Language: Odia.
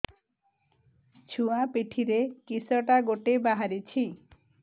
ଛୁଆ ପିଠିରେ କିଶଟା ଗୋଟେ ବାହାରିଛି